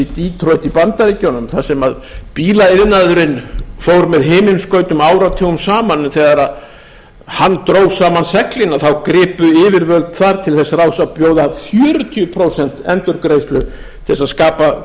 í detroit í bandaríkjunum þar sem bílaiðnaðurinn fór með himinskautum áratugum saman að þegar hann dró saman seglin þá gripu yfirvöld þar til þess ráðs að bjóða fjörutíu prósent endurgreiðslu til þess að skapa